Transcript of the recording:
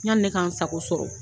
Yanni ne k'an sago sɔrɔ.